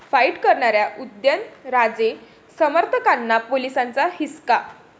fight' करणाऱ्या उदयनराजे समर्थकांना पोलिसांचा हिसका